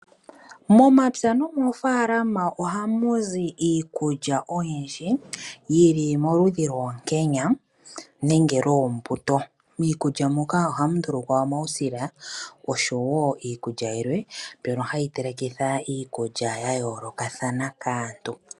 Momapya moofalama ohamu zi iikulya oyindji yili moludhi lwoonkenya nenge lwoombuto. Miikulya muka ohamu ndulukwa omausila oshowo iikulya yilwe mbyono hayi telekitha iikulya ya yoolokathana kaantu.